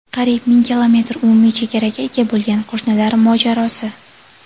Qariyb ming kilometr umumiy chegaraga ega bo‘lgan qo‘shnilar mojarosi.